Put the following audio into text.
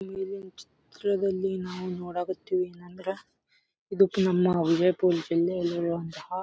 ಈ ಒಂದು ಚಿತ್ರದಲ್ಲಿ ನಾವು ನೋಡಕತ್ತೀವಿ ಏನಂದ್ರ ಇದಕ್ಕೆ ನಮ್ಮ ವಿಜಯಪುರದಲ್ಲಿ ಎಲ್ಲಿರುವಂತಹ --